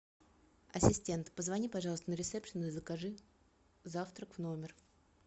ассистент позвони пожалуйста на рисепшен и закажи завтрак в номер